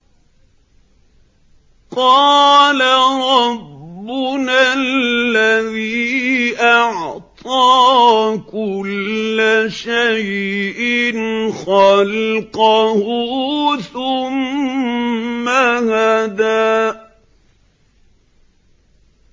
قَالَ رَبُّنَا الَّذِي أَعْطَىٰ كُلَّ شَيْءٍ خَلْقَهُ ثُمَّ هَدَىٰ